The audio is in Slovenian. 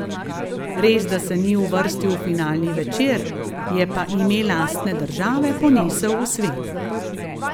Res da se ni uvrstil v finalni večer, je pa ime lastne države ponesel v svet.